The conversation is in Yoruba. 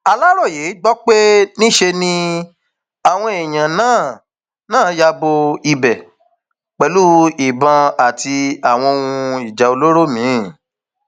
aláròye gbọ pé níṣe ni um àwọn èèyàn náà náà ya bo ibẹ um pẹlú ìbọn àti àwọn ohun ìjà olóró míín